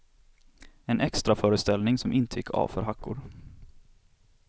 En extraföreställning som inte gick av för hackor.